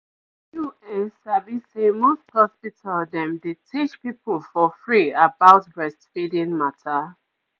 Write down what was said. you ehm sabi say most hospital dem dey teach people for free about breastfeeding mata